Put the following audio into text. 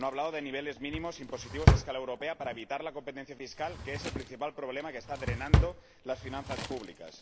No ha hablado de niveles mínimos impositivos a escala europea para evitar la competencia fiscal, que es el principal problema que está drenando las finanzas públicas.